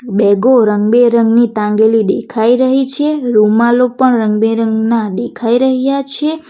બેગો રંગબેરંગી તાંગેલી દેખાઈ રહી છે રૂમાલો પણ રંગબેરંગના દેખાઈ રહયા છે.